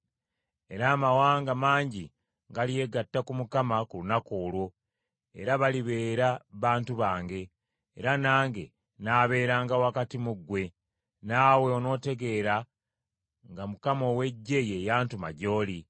“Era amawanga mangi galyegatta ku Mukama ku lunaku olwo, era balibeera bantu bange, era nange nnaabeeranga wakati mu ggwe, naawe onootegeera nga Mukama ow’Eggye ye yantuma gy’oli.